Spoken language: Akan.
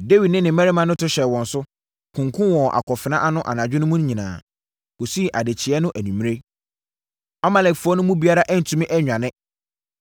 Dawid ne ne mmarima to hyɛɛ wɔn so, kunkumm wɔn wɔ akofena ano anadwo mu no nyinaa, kɔsii adekyeeɛ no anwummerɛ. Amalekfoɔ no mu biara antumi annwane,